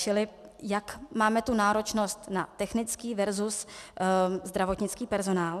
Čili jak máme tu náročnost na technický versus zdravotnický personál.